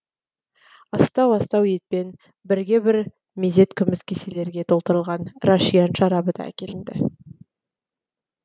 астау астау етпен бірге бір мезет күміс кеселерге толтырылған рашиян шарабы да әкелінді